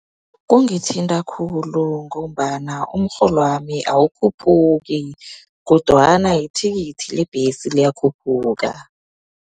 Kungithinta khulu, ngombana umrholwami awukhuphuki, kodwana ithikithi lebhesi liyakhuphuka.